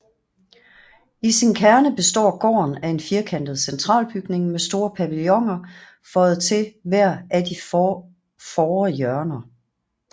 I sin kerne består gården af en firkantet centralbygning med store paviloner føjet til hvert af de fore hjørner